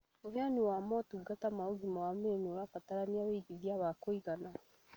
ũhenani wa motungata ma ũgima wa mwĩrĩ nĩũrabatara ũigithia wa kũigana